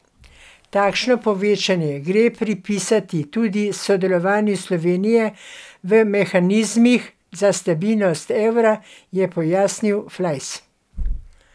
Takšno povečanje gre pripisati tudi sodelovanju Slovenije v mehanizmih za stabilnost evra, je pojasnil Flajs.